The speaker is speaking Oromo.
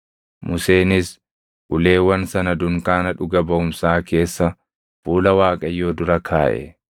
Museenis uleewwan sana dunkaana dhuga baʼumsaa keessa fuula Waaqayyoo dura kaaʼe.